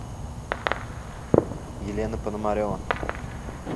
елена пономарева